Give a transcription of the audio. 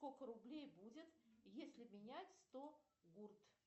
сколько рублей будет если менять сто гурт